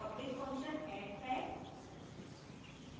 यह public function add है